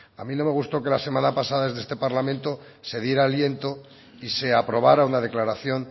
a mí no me gustó que la semana pasada en este parlamento se diera aliento y se aprobara una declaración